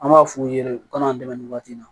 An b'a f'u ye de ko ka n'an dɛmɛ nin waati in na